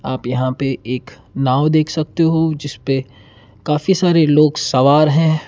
आप यहां पे एक नाव देख सकते हो जिसपे काफी सारे लोग सवार हैं।